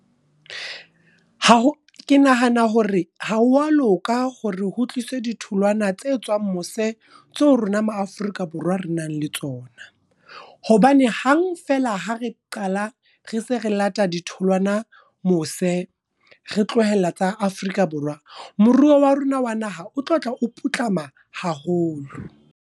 Ha ke nahana hore ha wa loka hore ho tliswe ditholwana tse tswang mose, tseo rona ma Afrika Borwa re nang le tsona. Hobane hang feela ha re qala re se re late ditholwana mose, re tlohella tsa Afrika Borwa. Moruo wa rona wa naha o tlo tla o putlama haholo.